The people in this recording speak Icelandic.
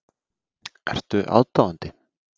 Ertu aðdáandi?